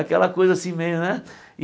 Aquela coisa assim meio, né?